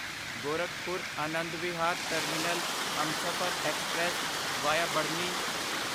Gorakhpur Anand Vihar terminal Humsafar express via Barhni